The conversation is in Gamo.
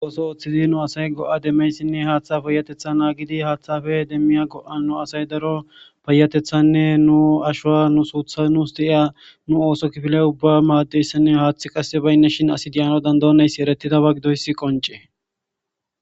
ooso ooththiza nu asay go7a demmeyssinne haaththa payatetha aagidi haaththafe demmiya go7a nu asay daro payatethanne nu ashowa nu suutha nuus di7iya nu ooso kifilay ubba maaddeyssinne haaththi qasse baynne shin asidiyano dandonayssi eretidaba gidoyssi qoncee